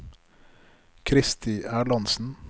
Kristi Erlandsen